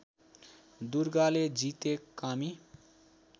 दुर्गाले जिते कामी